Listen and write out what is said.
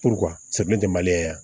tɛ maliyɛn ye yan